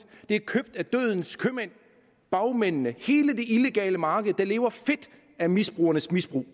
de er købt af dødens købmænd bagmændene hele illegale marked der lever fedt af misbrugernes misbrug